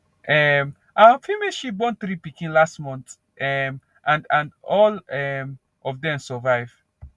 um our female sheep born three pikin last month um and and all um of dem survive